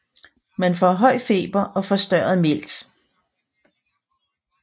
Man får høj feber og forstørret milt